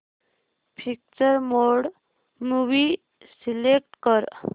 picture mode movie select कर